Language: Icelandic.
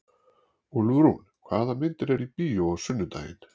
Úlfrún, hvaða myndir eru í bíó á sunnudaginn?